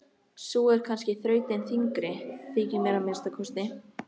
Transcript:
Sú er kannski þrautin þyngri, þykir mér að minnsta kosti.